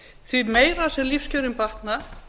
því meira sem lífskjörin batna